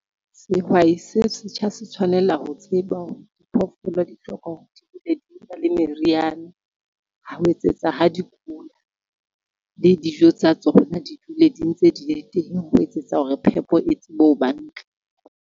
Sehwai se setjha se tshwanela ho tseba hore diphoofolo di hloka hore le meriana ho etsetsa ha di kula, le dijo tsa tsona di dule di ntse di le teng, ho etsetsa hore phepo e tsebe ho ba ntle.